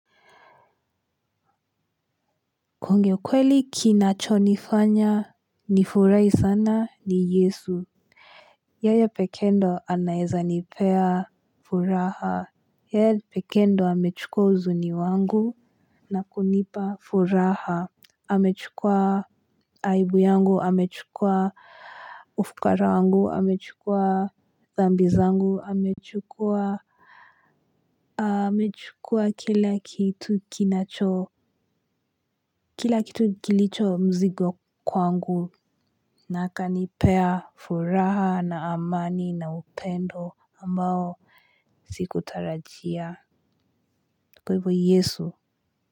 Kuongea ukweli kinacho nifanya ni furahi sana ni Yesu yeye pekee ndo anaeza nipea furaha yeye pekee ndo amechukua huzuni wangu na kunipa furaha amechukua aibu yangu amechukua ufukara wangu amechukua dhambi zangu amechukua kila kitu kinacho kila kitu kilicho mzigo kwangu na akanipea furaha na amani na upendo ambao sikutarajia. Kwa hivyo yesu.